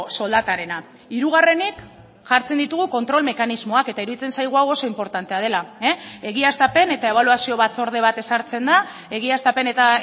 soldatarena hirugarrenik jartzen ditugu kontrol mekanismoak eta iruditzen zaigu hau oso inportantea dela egiaztapen eta ebaluazio batzorde bat ezartzen da egiaztapen eta